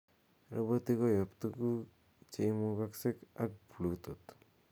roboti koyop tuguk cheimugoksek ab bluetooth